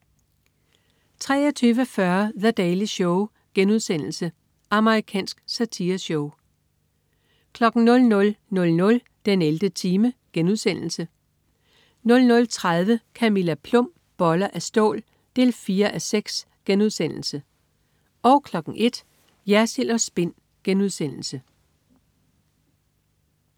23.40 The Daily Show.* Amerikansk satireshow 00.00 den 11. time* 00.30 Camilla Plum. Boller af stål 4:6* 01.00 Jersild & Spin*